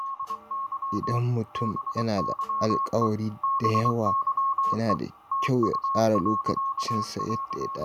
Idan mutum yana da alƙawari da yawa, yana da kyau ya tsara lokacinsa yadda ya dace.